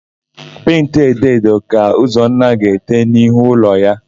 Penti edo edo ka Ụzọnna ga-ete n'ihu ụlọ ya.